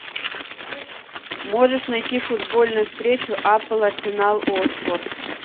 можешь найти футбольную встречу апл арсенал уотфорд